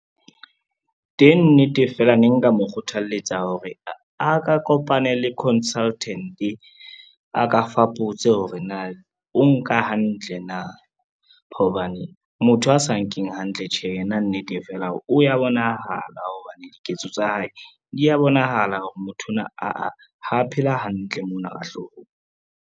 Teng nnete fela ne nka mo kgothaletsa hore a ka kopane le consultant, a ka fapotse hore na o nka hantle. Hobane motho a sa nkeng hantle tjhe, yena nnete fela hore o ya bonahala hobane diketso tsa hae di ya bonahala hore motho ona aa, ha phela hantle mona ka hloohong.